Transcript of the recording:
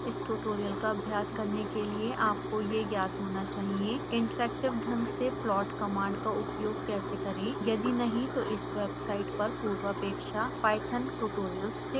इस ट्यूटोरियल का अभ्यास करने के लिए आपको यह ज्ञात होना चाहिए इंटरैक्टिव ढंग से प्लॉट कमांड का उपयोग कैसे करें